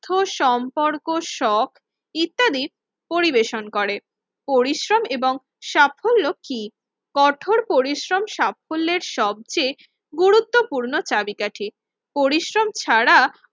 ঠোর সম্পর্ক সব ইত্যাদির পরিবেশন করে। পরিশ্রম এবং সাফল্য কি? কঠোর পরিশ্রম সাফল্যের সবচেয়ে গুরুত্বপূর্ণ চাবিকাঠি, পরিশ্রম ছাড়া